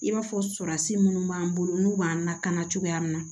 I b'a fɔ surasi minnu b'an bolo n'u b'an lakana cogoya min na